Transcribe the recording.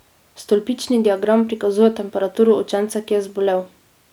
Stolpični diagram prikazuje temperaturo učenca, ki je zbolel.